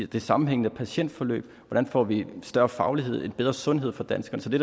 det sammenhængende patientforløb hvordan får vi en større faglighed en bedre sundhed for danskerne så det